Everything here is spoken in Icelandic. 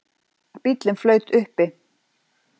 Bíllinn flaut uppi